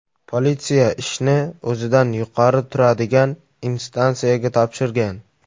Politsiya ishni o‘zidan yuqori turadigan instansiyaga topshirgan.